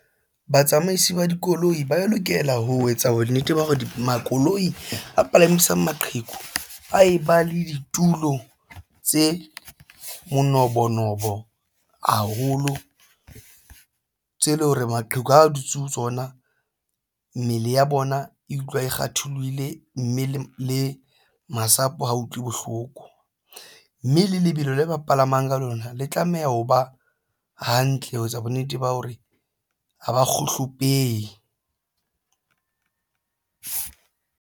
Batsamaisi ba dikoloi ba lokela ho etsa bonnete ba hore dimakoloi a palamisang maqheku a e ba le ditulo tse manobonobo haholo tse leng hore maqheku a dutse ho tsona mmele ya bona e utlwa e kgatholohile mme le masapo ha utlwe bohloko mme le lebelo le ba palamang ka lona le tlameha ho ba hantle ho etsa bonnete ba hore ha ba kgohlopehe.